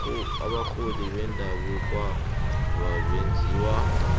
abarholi bendabukwaba benzisa